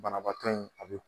Banabaatɔ in a be